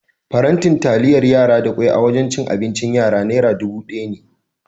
Faranti taliyar yara da kwai a wajan cin abincin yaya nera dubu ɗaya ne.